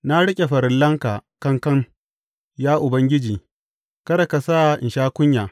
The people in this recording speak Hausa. Na riƙe farillanka kankan, ya Ubangiji; kada ka sa in sha kunya.